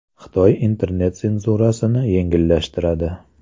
Xitoy internet senzurasini yengillashtiradi.